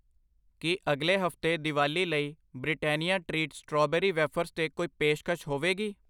ਕੀ ਅਗਲੇ ਹਫਤੇ ਦੀਵਾਲੀ ਲਈ ਬ੍ਰਿਟੈਨਿਆ ਟ੍ਰੀਟ ਸਟ੍ਰਾਬੇਰੀ ਵੇਫਰਜ਼ 'ਤੇ ਕੋਈ ਪੇਸ਼ਕਸ਼ ਹੋਵੇਗੀ?